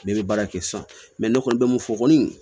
Ne bɛ baara kɛ sisan ne kɔni bɛ mun fɔ kɔni